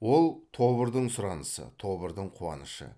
ол тобырдың сұранысы тобырдың қуанышы